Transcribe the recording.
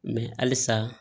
Mɛ halisa